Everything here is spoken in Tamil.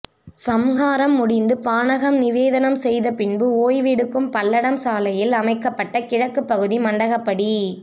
சம்ஹாரம் முடிந்து பானகம் நிவேதனம் செய்த பின்பு ஓய்வெடுக்கும் பல்லடம் சாலை யில் அமைகப்பட்ட கிழக்கு பகுதி மண்டகப்படி